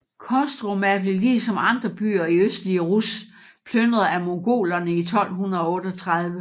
Kostroma blev ligesom andre byer i østlige Rus plynret af Mongolerne i 1238